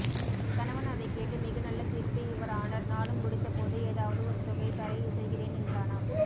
கணவன் அதைக் கேட்டு மிக நல்ல தீர்ப்பு யுவர் ஆனர் நானும் முடிந்தபோது ஏதாவது ஒருதொகை தர இசைகிறேன் என்றானாம்